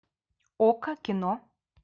окко кино